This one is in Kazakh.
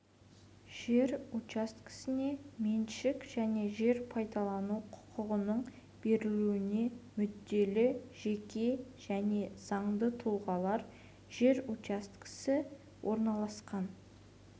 жер учаскелеріне меншік және жер пайдалану құқығының берілуіне мүдделі жеке және заңды тұлғалар жер учаскесі орналасқан